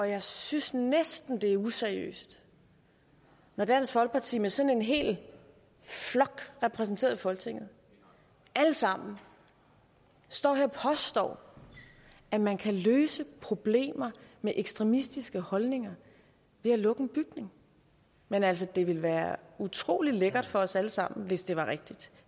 jeg synes næsten at det er useriøst når dansk folkeparti med sådan en hel flok repræsenteret i folketinget alle sammen står her og påstår at man kan løse problemer med ekstremistiske holdninger ved at lukke en bygning men altså det ville være utrolig lækkert for os alle sammen hvis det var rigtigt